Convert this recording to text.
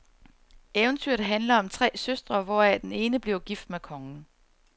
Eventyret handler om tre søstre, hvoraf den ene bliver gift med kongen.